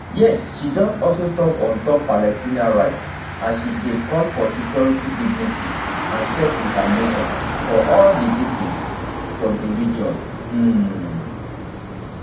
yet she don also tok on top palestinian rights as she dey call for security dignity and selfdetermination for all di pipo for for di region um